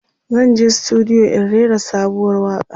zanje studio in rera sabuwar waƙa